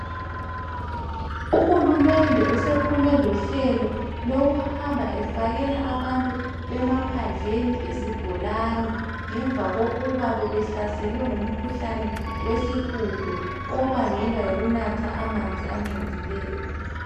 Uhulumende usephume lohlelo lokuhamba efakela abantu bemaphandleni izibholani ngemva kokuba bebehlaselwe ngumkhuhlane wesihudo obangelwa yikunatha amanzi agcolileyo.